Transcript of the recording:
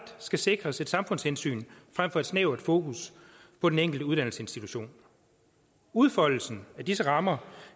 skal sikres et samfundshensyn frem for et snævert fokus på den enkelte uddannelsesinstitution udfoldelsen af disse rammer